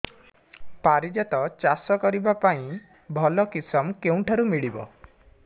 ପାରିଜାତ ଚାଷ କରିବା ପାଇଁ ଭଲ କିଶମ କେଉଁଠାରୁ ମିଳିବ